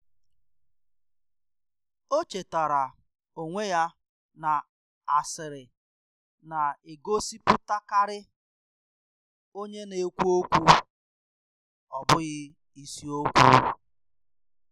O chetaara onwe ya na asịrị na-egosipụtakarị onye na-ekwu okwu, ọ bụghị isiokwu.